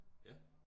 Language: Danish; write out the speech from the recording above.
Ja